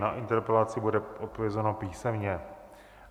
Na interpelaci bude odpovězeno písemně.